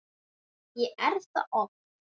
Jú, ég er það oft.